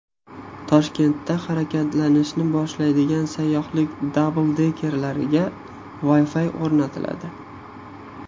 Toshkentda harakatlanishni boshlaydigan sayyohlik dabldekerlariga Wi-Fi o‘rnatiladi.